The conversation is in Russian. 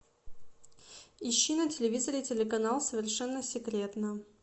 ищи на телевизоре телеканал совершенно секретно